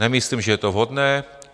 Nemyslím, že je to vhodné.